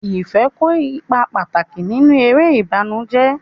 Ife kó ipa pàtàkì nínú eré ìbànújẹ́.